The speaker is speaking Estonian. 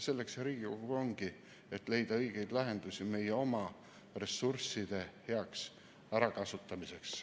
Selleks Riigikogu ongi, et leida õigeid lahendusi meie oma ressursside heaks ärakasutamiseks.